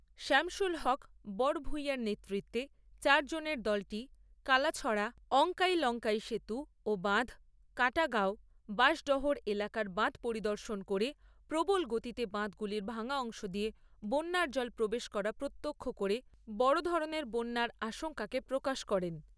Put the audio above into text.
শামসুল হক বড়ভুইয়ার নেতৃত্বে চারজনের দলটি কালাছড়া, অংকাই লংকাই সেতু ও বাঁধ, কাটাগাঁও, বাশডহর এলাকার বাঁধ পরিদর্শন করে প্রবল গতিতে বাঁধগুলির ভাঙা অংশ দিয়ে বন্যার জল প্রবেশ করা প্রত্যক্ষ করে বড় ধরণের বন্যার আশঙ্কা প্রকাশ করেন।